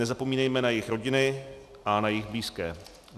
Nezapomínejme na jejich rodiny a na jejich blízké.